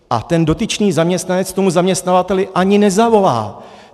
A ten dotyčný zaměstnanec tomu zaměstnavateli ani nezavolá.